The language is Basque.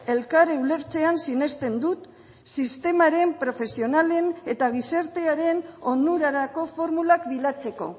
elkar ulertzean sinesten dut sistemaren profesionalen eta gizartearen onurarako formulak bilatzeko